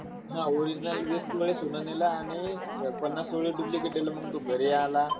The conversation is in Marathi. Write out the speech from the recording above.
हा original वीस तोळे सोनं नेलं आणि अह पन्नास तोळे duplicate दिलं आणि मग तो घरी आला.